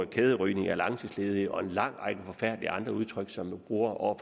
kæderygning af langtidsledige og en lang række andre forfærdelige udtryk som man bruger om